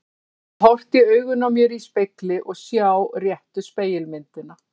Að geta horft í augun á mér í spegli og sjá réttu spegilmyndina.